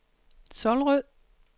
Solrød